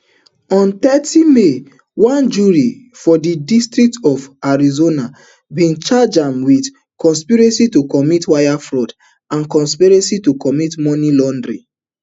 on thirty may one jury for di district of arizona bin charge am wit conspiracy to commit wire fraud and conspiracy to commit money laundering